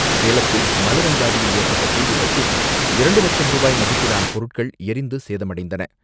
சேலத்தில் மலர் அங்காடியில் ஏற்பட்ட தீ விபத்தில் இரண்டு லட்சம் ரூபாய் மதிப்பிலான பொருட்கள் எரிந்து சேதமடைந்தன.